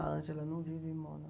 A Ângela não vive em Mônaco.